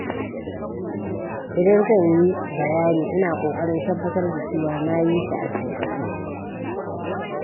Idan zan yi bayani, ina ƙoƙarin tabbatar da cewa na yi shi a sauƙaƙe.